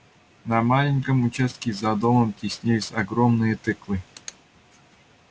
на маленьком участке за домом теснились огромные тыквы